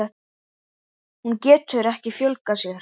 Hún getur ekki fjölgað sér.